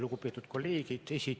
Lugupeetud kolleegid!